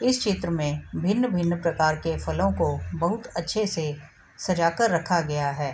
इस चित्र में भिन्न-भिन्न प्रकार के फलों को बहुत अच्छे से सजाकर रखा गया है ।